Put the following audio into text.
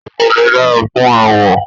Ọgẹdẹ dára fún aawọ.